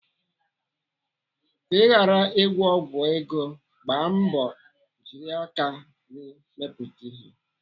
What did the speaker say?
Ka ị ghara ịgwọ ọgwụ ego, gbaa mbọ jiri aka gị mepụta ihe.